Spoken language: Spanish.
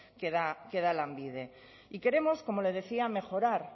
que da lanbide y queremos como le decía mejorar